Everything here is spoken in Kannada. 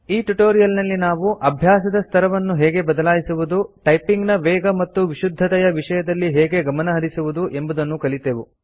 ಈ ಟ್ಯುಟೋರಿಯಲ್ ನಲ್ಲಿ ನಾವು ಅಭ್ಯಾಸದ ಸ್ತರವನ್ನು ಹೇಗೆ ಬದಲಾಯಿಸುವುದು ಟೈಪಿಂಗ್ ನ ವೇಗ ಮತ್ತು ವಿಶುದ್ಧತೆಯ ವಿಷಯದಲ್ಲಿ ಹೇಗೆ ಗಮನಹರಿಸುವುದು ಎಂಬುದನ್ನು ಕಲಿತೆವು